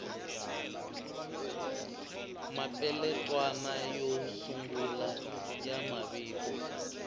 mapeletwana yo sungula ya mavito